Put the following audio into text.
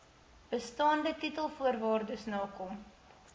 bestaande titelvoorwaardes nakom